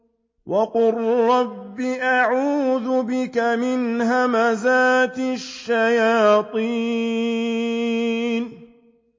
وَقُل رَّبِّ أَعُوذُ بِكَ مِنْ هَمَزَاتِ الشَّيَاطِينِ